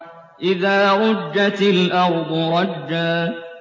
إِذَا رُجَّتِ الْأَرْضُ رَجًّا